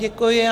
Děkuji.